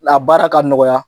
baara ka nɔgɔya